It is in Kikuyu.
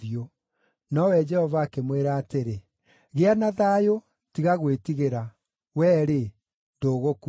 Nowe Jehova akĩmwĩra atĩrĩ, “Gĩa na thayũ! Tiga gwĩtigĩra. Wee-rĩ, ndũgũkua.”